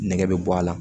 Nɛgɛ bɛ bɔ a la